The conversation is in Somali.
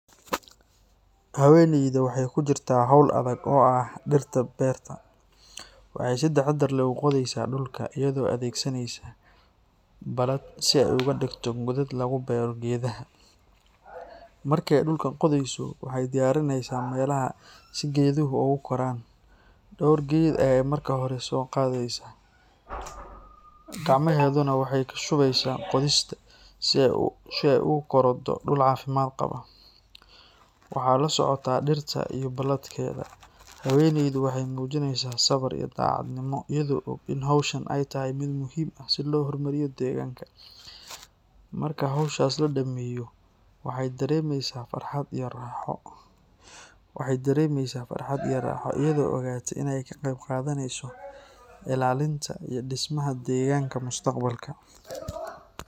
Haweenayda waxay ku jirtaa hawl adag oo ah dhirta beerta. Waxay si taxadar leh u qodaysaa dhulka, iyadoo adeegsanaysa baalad si ay uga dhigto godad lagu beero geedaha. Markii ay dhulka qodayso, waxay diyaarineysaa meelaha si geeduhu ugu koraan. Dhowr geed ayay marka hore soo qaadaysaa, gacmahedunaa waxay ku shubeysaa qodista si ay ugu korodho dhul caafimaad qaba. Waxaa la socota dhirta iyo baaladkeeda. Haweenaydu waxay muujineysaa sabir iyo daacadnimo, iyadoo og in hawshan ay tahay mid muhiim ah si loo horumariyo deegaanka. Markii hawshaas la dhammeeyo, waxay dareemeysaa farxad iyo raaxo iyadoo ogaata inay ka qayb qaadaneyso ilaalinta iyo dhismaha deegaanka mustaqbalka.